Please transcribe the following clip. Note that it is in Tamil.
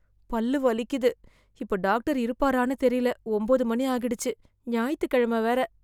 பல்லு வலிக்குது, இப்ப டாக்டர் இருப்பாறான்னு தெரியல ஒம்பது மணி ஆகிடுச்சு, ஞாயித்து கெழம வேற.